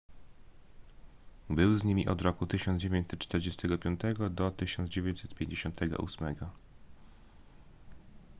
był z nimi od roku 1945 do 1958